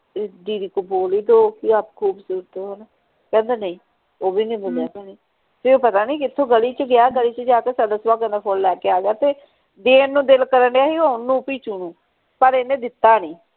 ਇਸ ਦੀਦੀ ਕੋ ਬੋਲ ਹੀ ਦੋ ਕਿ ਆਪ ਖੂਬਸੂਰਤ ਹੋ ਕਹਿੰਦਾ ਨਹੀਂ ਉਹ ਵੀ ਨਹੀਂ ਬੋਲਿਆ ਫੇਰ ਪਤਾ ਨਹੀਂ ਕਿਥੋਂ ਗਲੀ ਚ ਗਿਆ ਗਲੀ ਚ ਜਾ ਕੇ ਸਦਾ ਸੁਹਾਗਣ ਦਾ ਫੁਲ ਲੈ ਕੇ ਆ ਗਿਆ ਤੇ ਦੇਣ ਨੂੰ ਦਿਲ ਕਰਨ ਢਆ ਸੀ ਓਹਨੂੰ ਪਿਚੁ ਨੂੰ ਪਰ ਇਹਨੇ ਦਿੱਤਾ ਨਹੀਂ